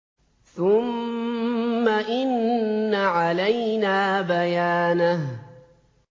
ثُمَّ إِنَّ عَلَيْنَا بَيَانَهُ